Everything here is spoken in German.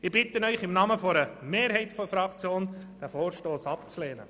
Ich bitte Sie im Namen einer Mehrheit unserer Fraktion, diesen Vorstoss abzulehnen.